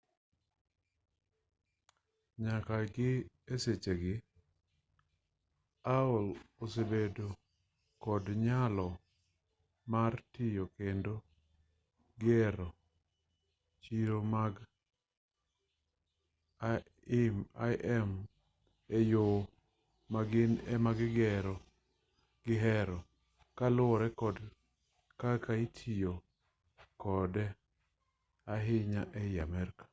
nyaka gi e sechegi aol osebedo kod nyalo mar tayo kendo gero chiro mar im e yo ma gin ema gihero kaluwore kod kaka itiyo kode ahinya ei amerka